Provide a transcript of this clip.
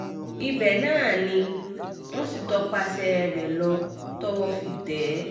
ibẹ̀ náà ni wọ́n sì tọpasẹ̀ rẹ̀ lọ tọwọ́ fi tẹ̀ ẹ́